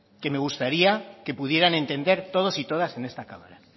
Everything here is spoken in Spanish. que me gustaría que pudieran entender todos y todas en esta cámara